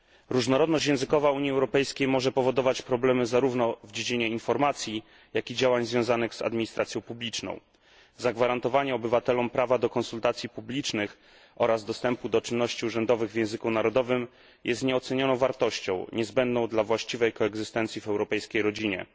Różnorodność językowa Unii Europejskiej może powodować problemy zarówno w dziedzinie informacji, jak i działań związanych z administracją publiczną. Zagwarantowanie obywatelom prawa do konsultacji publicznych oraz do czynności urzędowych w języku narodowym jest nieocenioną wartością, niezbędną dla właściwej koegzystencji w europejskiej rodzinie.